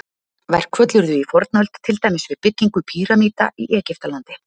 Verkföll urðu í fornöld, til dæmis við byggingu pýramída í Egyptalandi.